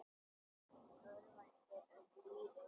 Hann örvænti um lífið.